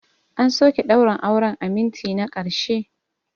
An soke daurin auren a minti na ƙarshe.